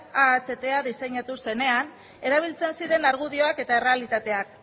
ahta diseinatu zenean erabiltzen ziren argudioak eta errealitateak